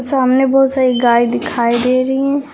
सामने बहोत सारी गाय दिखाई दे रही हैं।